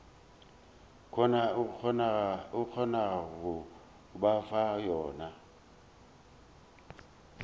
kgonago go ba fa yona